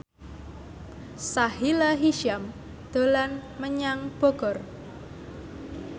Sahila Hisyam dolan menyang Bogor